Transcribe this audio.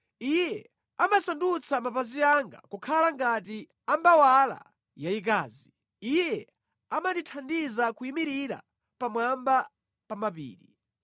Iye amasandutsa mapazi anga kukhala ngati ambawala yayikazi; Iye amandithandiza kuyimirira pamwamba pa mapiri.